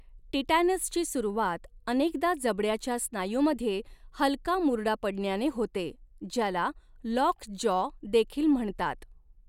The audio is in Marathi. टिटॅनसची सुरुवात अनेकदा जबड्याच्या स्नायूमध्ये हलका मुरडा पडण्याने होते ज्याला लॉकजॉ देखील म्हणतात.